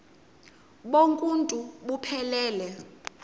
bonk uuntu buphelele